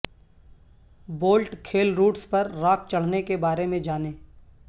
bolt کھیل routes پر rock چڑھنے کے بارے میں جانیں